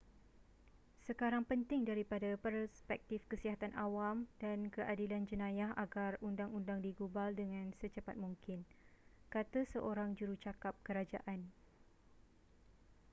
sekarang penting daripada perspektif kesihatan awam dan keadilan jenayah agar undang-undang digubal dengan secepat mungkin kata seorang jurucakap kerajaan